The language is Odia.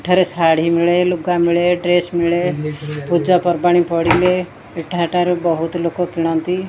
ଏଠାରେ ଶାଢ଼ୀ ମିଳେ ଲୁଗା ମିଳେ ଡ୍ରେସ ମିଳେ ପୂଜା ପର୍ବାଣୀ ପଡ଼ିଲେ ଏଠା ଠାରୁ ବହୁତ ଲୋକ କିଣନ୍ତି।